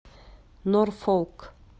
норфолк